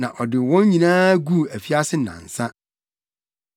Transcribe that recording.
Na ɔde wɔn nyinaa guu afiase nnansa.